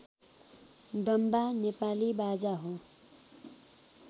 डम्बा नेपाली बाजा हो